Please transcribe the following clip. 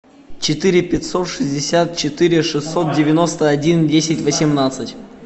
четыре пятьсот шестьдесят четыре шестьсот девяносто один десять восемнадцать